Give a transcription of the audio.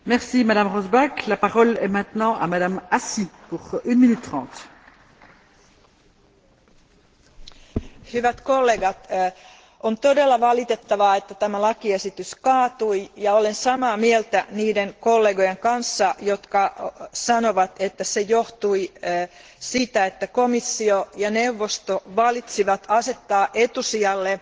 Arvoisa puhemies, hyvät kollegat, on todella valitettavaa, että tämä lakiesitys kaatui, ja olen samaa mieltä niiden kollegoiden kanssa, jotka sanovat, että se johtui siitä, että komissio ja neuvosto päättivät asettaa etusijalle